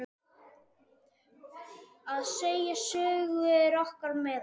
Að segja sögur er okkar meðal.